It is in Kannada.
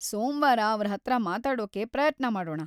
ಸೋಮ್ವಾರ ಅವ್ರ್ ಹತ್ರ ಮಾತಾಡೋಕೆ ಪ್ರಯತ್ನ ಮಾಡೋಣ.